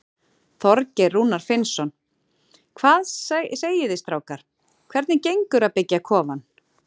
Þorgeir Rúnar Finnsson: Hvað segið þið strákar, hvernig gengur að byggja kofann?